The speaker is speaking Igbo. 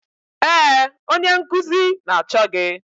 Ee, onye nkuzi na-achọ gị